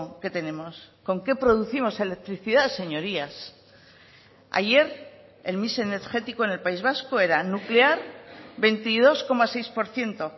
que tenemos con qué producimos electricidad señorías ayer el mix energético en el país vasco era nuclear veintidós coma seis por ciento